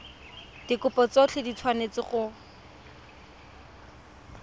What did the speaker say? dikopo tsotlhe di tshwanetse go